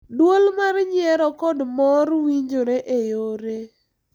Duol mar nyiero kod mor winjore e yore,